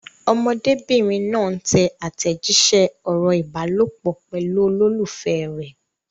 Ọmọdébìnrin náà ń tẹ àtẹ̀jíṣẹ́ ọ̀rọ̀ ìbálòpọ̀ pẹ̀lú olólùfẹ́ rẹ̀.